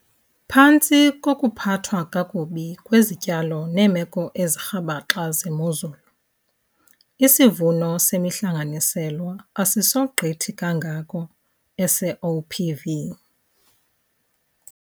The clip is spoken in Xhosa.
Phantsi kokuphathwa kakubi kwezityalo neemeko ezirhabaxa zemozulu, isivuno semihlanganiselwa asisogqithi kangako esee-OPV.